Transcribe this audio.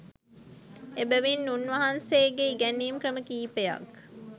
එබැවින් උන්වහන්සේගේ ඉගැන්වීම් ක්‍රම කීපයක්